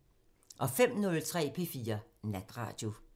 05:03: P4 Natradio